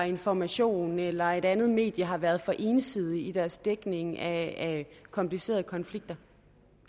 information eller et andet medie har været for ensidig i deres dækning af komplicerede konflikter